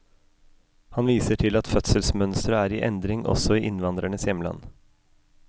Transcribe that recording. Han viser til at fødselsmønsteret er i endring også i innvandrernes hjemland.